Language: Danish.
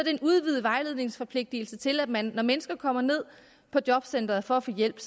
er en udvidet vejledningsforpligtelse til at man når mennesker kommer ned på jobcenteret for at få hjælp